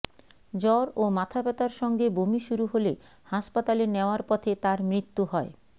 জ্বর ও মাথাব্যথার সঙ্গে বমি শুরু হলে হাসপাতালে নেওয়ার পথে তার মৃত্যু হয়